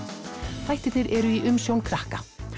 þættirnir eru í umsjón krakka